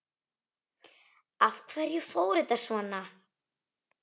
Af hverju fór þetta svona?